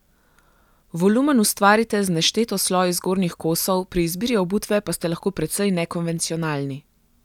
Volumen ustvarite z nešteto sloji zgornjih kosov, pri izbiri obutve pa ste lahko precej nekonvencionalni.